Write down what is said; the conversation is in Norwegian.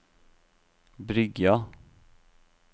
Bryggja